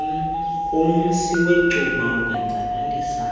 umsi wecuba ukwenzakalisa